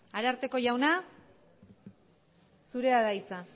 ararteko jauna zurea da hitza